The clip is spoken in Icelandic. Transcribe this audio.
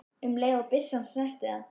um leið og byssa snertir það.